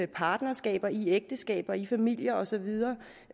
partnerskaber i ægteskaber i familier og så videre